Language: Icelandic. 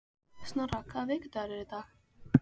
Snorra, hvaða vikudagur er í dag?